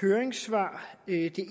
høringssvar det